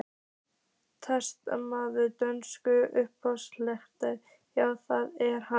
Talsmaður dönsku lögreglunnar: Já, það er hann?